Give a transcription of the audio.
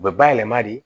U bɛ bayɛlɛma de